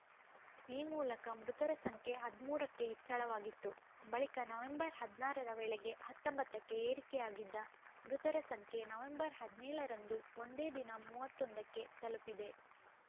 ಈ ಮೂಲಕ ಮೃತರ ಸಂಖ್ಯೆ ಹದಿಮೂರಕ್ಕೆ ಹೆಚ್ಚಳವಾಗಿತ್ತು ಬಳಿಕ ನವೆಂಬರ್‌ ಹದಿನಾರರ ವೇಳೆಗೆ ಹತ್ತೊಂಬತ್ತಕ್ಕೆ ಏರಿಕೆಯಾಗಿದ್ದ ಮೃತರ ಸಂಖ್ಯೆ ನವೆಂಬರ್ ಹದಿನೇಳರಂದು ಒಂದೇ ದಿನ ಮೂವತ್ತ್ ಒಂದಕ್ಕೆ ತಲುಪಿದೆ